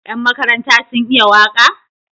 Yan makaranta sun iya waka?